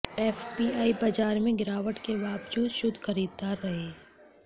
FPI बाजार में गिरावट के बावजूद शुद्ध खरीदार रहे